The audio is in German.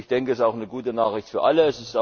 Ich denke, das ist eine gute Nachricht für alle.